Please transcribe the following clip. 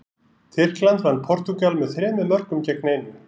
Tyrkland vann Portúgal með þremur mörkum gegn einu.